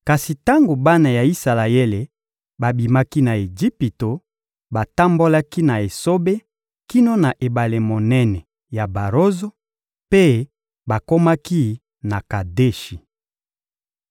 Kasi tango bana ya Isalaele babimaki na Ejipito, batambolaki na esobe kino na ebale monene ya Barozo, mpe bakomaki na Kadeshi.